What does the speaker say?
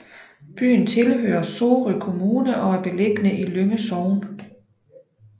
Byen tilhører Sorø Kommune og er beliggende i Lynge Sogn